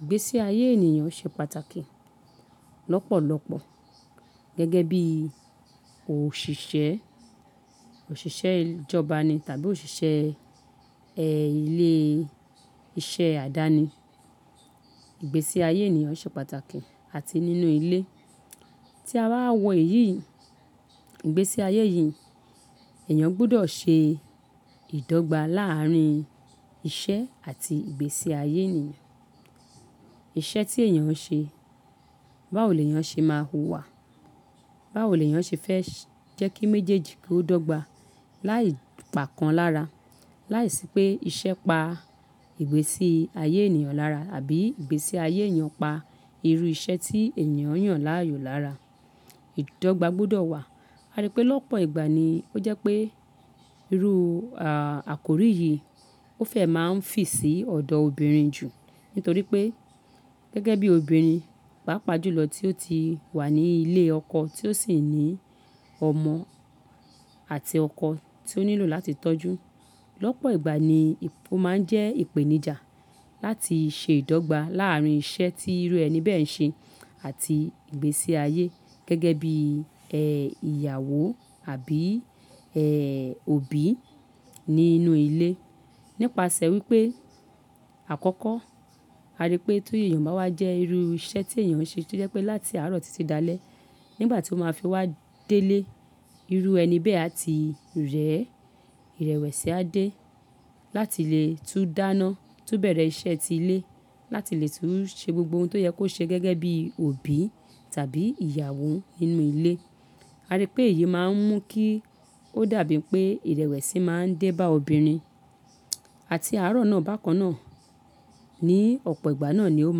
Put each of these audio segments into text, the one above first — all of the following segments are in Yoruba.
ìgbésí ayé ènìyàn ṣe pàtàkì lọ́pọ̀lọpọ̀ gẹ́gẹ́ bí òṣìṣẹ́, òṣìṣẹ́ ìjọba ni tàbí òṣìṣẹ́ ẹ́ ilé iṣẹ́ àdáni. Ìgbésí ayé ènìyàn ṣe pàtàkì àti nínú ilé. Tí a bá wọ̀ iyí, ìgbésí ayé yìí, ẹ̀yàn gbọ́dọ̀ ṣe ìdọ́gba láàárín iṣẹ́ àti ìgbésí ayé ènìyàn. Iṣẹ́ tí èyàn ń ṣe, báwo lèyàn ṣe máa huwà? Báwo lèyàn ṣe fẹ́ jẹ́ kí méjèèjì kó dọ́gba láì pàkan lára? Láìsí pé iṣẹ́ pa ìgbésí ayé ènìyàn lára àbí ìgbésí ayé èyàn pa irú iṣẹ́ tí èyàn yàn láàyò lára. Ìdọ́gba gbọ́dọ̀ wà. A rí pé lọ́pọ̀ ìgbà ni ó jẹ́ pé irú àkórí yìí ó fẹ́ máa ń fi sí ọ̀dọ̀ obìnrin jù nítorí pé gẹ́gẹ́ bí obìnrin, pàápàá jùlọ tí ó ti wà ní ilé ọkọ tí ó sì ní ọmọ àti ọkọ tí ó nílò láti tọ́jú. Lọ́pọ̀ ìgbà ni ó máa ń jẹ́ ìpèníjà láti ṣe ìdọ́gba láàárín iṣẹ́ tí irú ẹni bẹ́ẹ̀ ń ṣe àti ìgbésí ayé gẹ́gẹ́ bí ẹ ìyàwó àbí ẹ òbí nínú ilé. Nípasẹ̀ wípé àkọ́kọ́, a rí pé tó èyàn bá wà jẹ́ irú iṣẹ́ tí èyàn ń ṣe tí ó jẹ́ pé láti àárọ̀ títí dalẹ́ nígbà tí ó máa fi wá délé, irú ẹni bẹ́ẹ̀ á ti rẹ́, ìrẹ̀wẹ̀sì á dé láti lè tún dáná, tún bẹ̀rẹ̀ iṣẹ́ ti ilé láti lè tún ṣe gbogbo ohun tó yẹ kó ṣe gẹ́gẹ́ bí òbí tàbí ìyàwó nínú ilé. A rí pé èyí máa ń mú kí ó dàbí pé ìrẹ̀wẹ̀sì máa ń dé bá obìnrin àti àárọ̀ náà bákan náà. Ni ọ̀pọ̀ ìgbà náà ni ó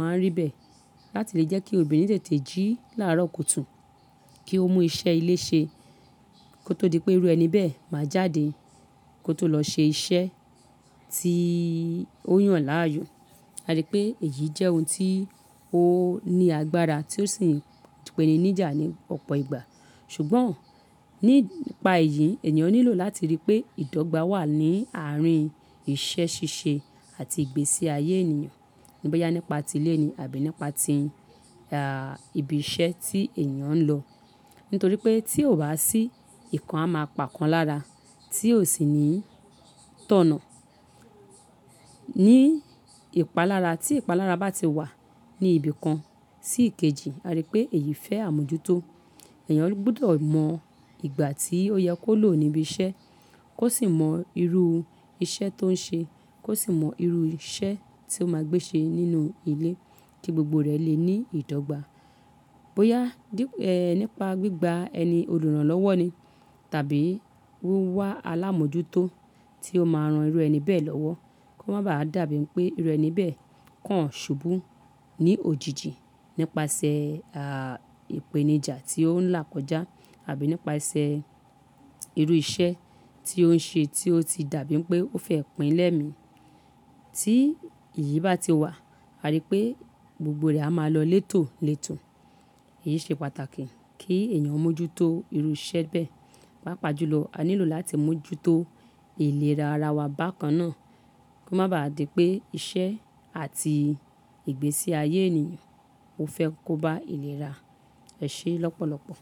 máa ń rí bẹ́ẹ̀ láti lè jẹ́ kí obìnrin tètè jí láàrọ́ kùtù kí ó mú iṣẹ́ ilé ṣe kó tó di pé irú ẹni bẹ́ẹ̀ máa jáde kó tó lọ ṣe iṣẹ́ tí ó yàn láàyò. A rí pé èyí jẹ́ ohun tí ó ní agbára tí ó sì ń pèniníjà ní ọ̀pọ̀ ìgbà. Ṣùgbọ́n nípa èyí, ènìyàn nílò láti rí pé ìdọ́gba wà ní àárín iṣẹ́ ṣíṣe àti ìgbésí ayé ènìyàn boyá nípa ti ilé ni àbí nípa ti ah ìbí iṣẹ́ tí èyàn ń lọ. Nítorí pé tí ò bá sí ìkan á máa pàkan lára tí ò sì ní tọ̀nà. Ní ìpalára tí ìpalára bá ti wà ní ibi kan sí ìkejì, a rí pé èyí fẹ́ àmójútó. Ẹ̀yàn gbọ́dọ̀ mọ ìgbà tí ó yẹ kó lò níbi iṣẹ́ kó sì mọ irú iṣẹ́ tó ń ṣe kó sì mọ irú iṣẹ́ tí ó máa gbé ṣe nínú ilé kí gbogbo rẹ̀ lè ní ìdọ́gba. Bóyá nípa gbígba ẹni olùrànlọ́wọ́ ni tàbí wíwá alámójútó tí ó máa ran irú ẹni bẹ́ẹ̀ lọ́wọ́ kó má bá dàbí pé irú ẹni bẹ́ẹ̀ kàn ṣubú ní òjijì nípasẹ̀ à ìpèníjà tí ó ń là kọjá àbí nípasẹ̀ irú iṣẹ́ tí ó ń ṣe tí ó ti dàbí pé ó fẹ́ pínlẹ̀ mí. Tí ìyí bá ti wà, a rí pé gbogbo rẹ̀ á máa lọ létò létò. Èyí ṣe pàtàkì kí èyàn mójútó irú iṣẹ́ bẹ́ẹ̀. Pàápàá jùlọ, a nílò láti mójútó ìlera ara wa bákan náà kó má bá dàbí pé iṣẹ́ àti ìgbésí ayé ènìyàn ó fẹ́ kó bá ìlera ẹ ṣe lọ́pọ̀lọpọ̀.